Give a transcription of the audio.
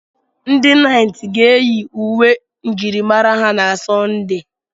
Ndị naịt ga-eyi uwe njirimara ha na Sunday.